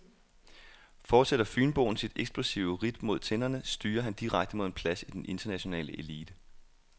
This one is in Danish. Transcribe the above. Fortsætter fynboen sit eksplosive ridt mod tinderne, styrer han direkte mod en plads i den internationale elite.